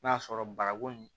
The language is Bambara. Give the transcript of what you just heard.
N'a sɔrɔ bagako in